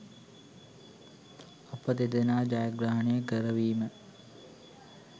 අප දෙදෙනා ජයග්‍රහණය කරවීම